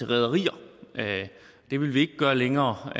rederier det vil vi ikke gøre længere